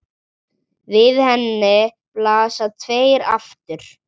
Við henni blasa tveir aftur